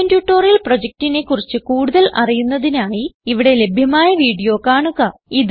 spoken tutorial പ്രൊജക്റ്റിനെ കുറിച്ച് കൂടുതൽ അറിയുന്നതിനായി ഇവിടെ ലഭ്യമായ വീഡിയോ കാണുക